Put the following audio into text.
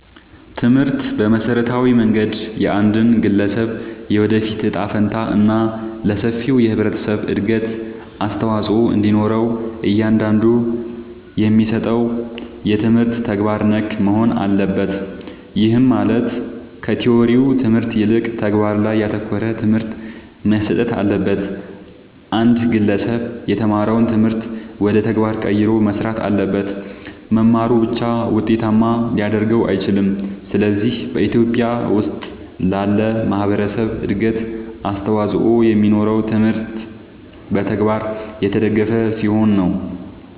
ትምህርት በመሠረታዊ መንገድ የአንድን ግለሠብ የወደፊት እጣ ፈንታ እና ለሠፊው የህብረተሠብ እድገት አስተዋፅኦ እንዲኖረው እያንዳንዱ የሚሠጠው ትምህርት ተግባር ነክ መሆን አለበት። ይህም ማለት ከቲወሪው ትምህርት ይልቅ ተግባር ላይ ያተኮረ ትምህርት መሠጠት አለበት። አንድ ግለሠብ የተማረውን ትምህርት ወደ ተግባር ቀይሮ መሥራት አለበት። መማሩ ብቻ ውጤታማ ሊያደርገው አይችልም። ስለዚህ በኢትዮጲያ ውስጥ ላለ ማህበረሠብ እድገት አስተዋፅኦ የሚኖረው ትምህርቱ በተግባር የተደገፈ ሲሆን ነው።